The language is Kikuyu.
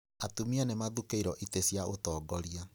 Atumia nĩmathukĩirwo itĩ cia ũtongoria